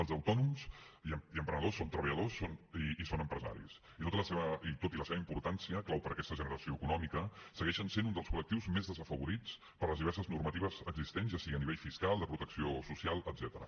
els autònoms i emprenedors són treballadors i són empresaris i tot i la seva importància clau per a aquesta generació econòmica segueixen sent un dels col·lectius més desafavorits per les diverses normatives existents ja sigui a nivell fiscal de protecció social etcètera